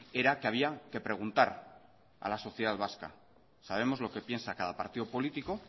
era que había que preguntar a la sociedad vasca sabemos lo que piensa cada partido político